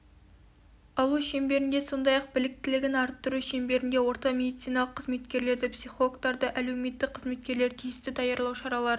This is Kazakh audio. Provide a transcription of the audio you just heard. алу шеңберінде сондай-ақ біліктілігін арттыру шеңберінде орта медициналық қызметкерлерді психологтарды әлеуметтік қызметкерлерді тиісті даярлау шараларын